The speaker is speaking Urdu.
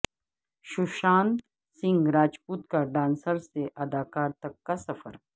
سوشانت سنگھ راجپوت کا ڈانسر سے اداکار تک کا سفر